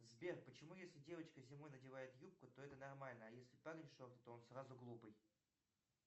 сбер почему если девочка зимой надевает юбку то это нормально а если парень шорты то он сразу глупый